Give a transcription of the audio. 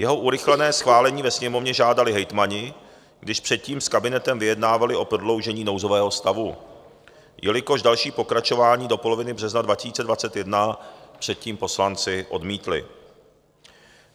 Jeho urychlené schválení ve Sněmovně žádali hejtmani, když předtím s kabinetem vyjednávali o prodloužení nouzového stavu, jelikož další pokračování do poloviny března 2021 předtím poslanci odmítli.